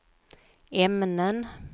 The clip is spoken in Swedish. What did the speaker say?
ämnen